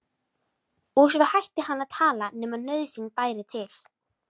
Og svo hætti hann að tala nema nauðsyn bæri til.